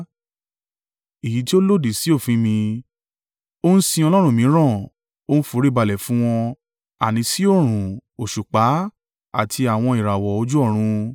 èyí tí ó lòdì sí òfin mi, ó ń sin ọlọ́run mìíràn, ó ń foríbalẹ̀ fún wọn: àní sí oòrùn, òṣùpá àti àwọn ìràwọ̀ ojú ọ̀run,